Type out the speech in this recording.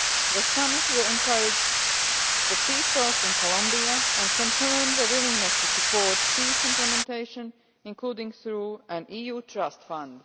The summit will encourage the peace talks in Colombia and confirm the willingness to support peace implementation, including through an EU trust fund.